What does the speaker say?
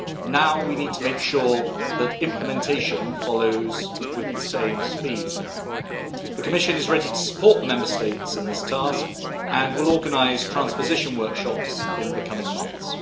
Now, we need to make sure that implementation follows with the same speed The Commission is ready to support the Member States in this task and will organise transposition workshops in the coming months.